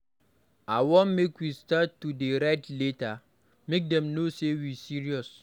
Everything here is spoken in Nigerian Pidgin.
I wan make we start to dey write letter, make dem no say we serious.